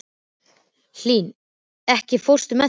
Hlín, ekki fórstu með þeim?